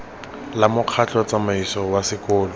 la mokgatlho tsamaiso wa sekolo